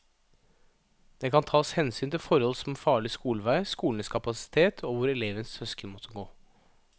Det kan tas hensyn til forhold som farlig skolevei, skolenes kapasitet og hvor elevens søsken måtte gå.